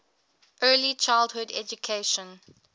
early childhood education